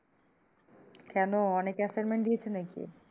কেন অনেক assignment দিয়েছে নাকি?